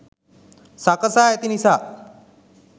සකසා ඇති නිසා